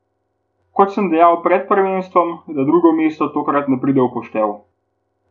Kot sem dejal pred prvenstvom, da drugo mesto tokrat ne pride v poštev ...